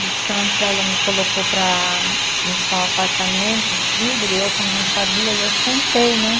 De Santos ela me colocou para limpar o apartamento, o vidro, e eu como não sabia, e eu sentei, né?